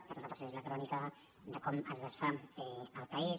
per a nosaltres és la crònica de com es desfà el país